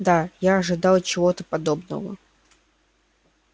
да я ожидал чего-то подобного